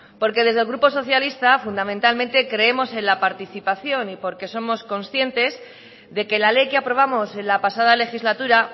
porque desde el grupo socialista fundamentalmente creemos en la participación y porque somos conscientes de que la ley que aprobamos en la pasada legislatura